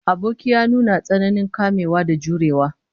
Aboki ya nuna tsananin kamewa da jurewa